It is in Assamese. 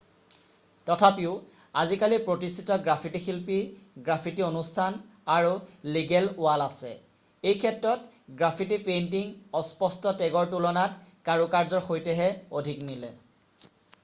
"তথাপিও আজিকালি প্ৰতিষ্ঠিত গ্ৰাফিটি শিল্পী গ্ৰাফিটি অনুষ্ঠান আৰু "লিগেল" ৱাল আছে। এইক্ষেত্ৰত গ্ৰাফিটি পেইণ্টিং অস্পষ্ট টেগৰ তুলনাত কাৰুকাৰ্যৰ সৈতেহে অধিক মিলে।""